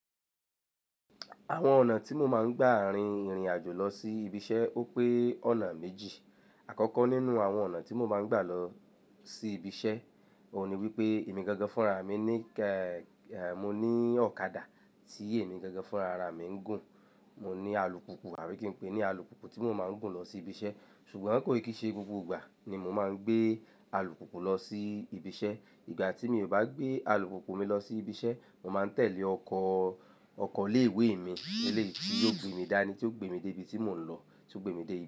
Àwọn ọ̀nà tí mo máa ń gbà rin ìrìn àjò lọ sí ibi iṣẹ́ ó pé ọ̀nà méjì. Àkọ́kọ́ nínú àwọn ọ̀nà tí mo máa ń gbà lọ sí ibi iṣẹ́, òun ni wípé èmi gangan fúnra mi ní, èèè, mo ní ọ̀kadà tí èmi gangan fúnrara mi ń gùn. Mo ní alùpùpù, àbí kí n pè é ní alùpùpù tí mo máa ń gùn lọ sí ibi iṣẹ́. Ṣùgbọ́n kòi kí i ṣe gbogbo ìgbà ni mo máa ń gbé alùpùpù lọ sí ibi iṣẹ́. Ìgbà tí mi ò bá gbé alùpùpù mi lọ sí ibi iṣẹ́, mo máa ń tẹ̀lé ọkọ, ọkọ̀ ileéwé mi, eléyi tí, yó gbé mi dání, tí ó gbé mi dé ibi tí mò ń lọ, tí ó gbé mi dé ibi.